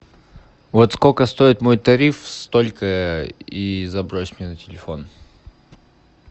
вот сколько стоит мой тариф столько и забрось мне на телефон